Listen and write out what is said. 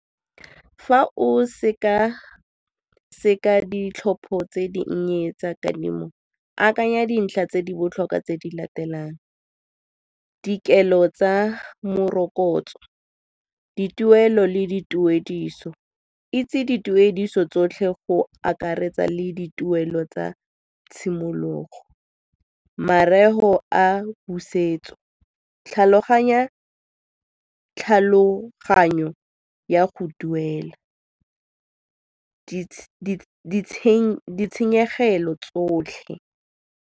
Fa o seka-seka ditlhopho tse dinnye tsa kadimo akanya dintlha tse di botlhokwa tse di latelang, dikelo tsa morokotso, dituelo le dituediso. Itse dituediso tsotlhe go akaretsa le dituelo tsa tshimologo, mareo a tlhaloganyo ya go duela, ditshenyegelo tsotlhe.